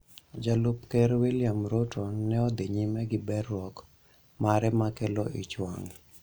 Jalup Ker William Ruto ne odhi nyime gi berruok mare ma kelo ichwang'